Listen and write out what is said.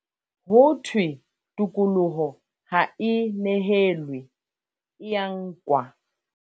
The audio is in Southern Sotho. Ho thwe tokoloho ha e nehelwe, e ya nkwa.